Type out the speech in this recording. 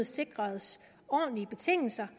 sikres ordentlige betingelser